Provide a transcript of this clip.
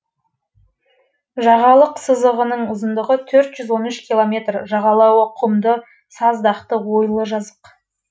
жағалық сызығының ұзындығы төрт жүз он үш километр жағалауы құмды саздақты ойлы жазық